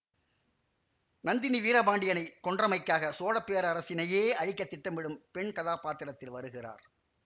நந்தினி வீரபாண்டியனை கொன்றமைக்காக சோழ பேரரசினையே அழிக்க திட்டமிடும் பெண் கதாப்பாத்திரத்தில் வருகிறார்